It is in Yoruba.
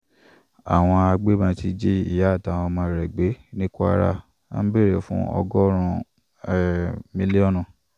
awọn agbebọn ti ji iya atawọn ọmọ rẹ gbe ni kwara, wọn bere fun ọgọrun um miliọnu